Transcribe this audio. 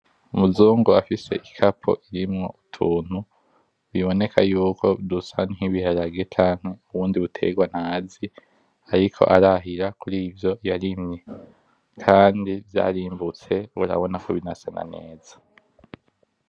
Umuzungu afise igapo irimwo utuntu biboneka yuko dusa nk’ibiharage canke n’ubundi butegwa ntazi ariko arahira kur’ ivyo yarimye Kandi vyarimbutse kubera urabona ko binasa na neza.